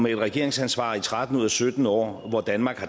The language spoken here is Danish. et regeringsansvar i tretten ud af sytten år hvor danmark